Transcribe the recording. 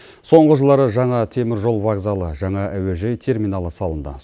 соңғы жылдары жаңа теміржол вокзалы жаңа әуежай терминалы салынды